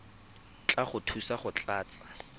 tla go thusa go tlatsa